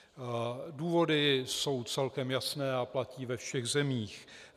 Důvody jsou celkem jasné a platí ve všech zemích.